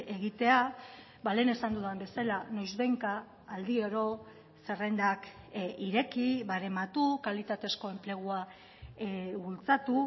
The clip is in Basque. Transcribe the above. egitea lehen esan dudan bezala noizbehinka aldiro zerrendak ireki barematu kalitatezko enplegua bultzatu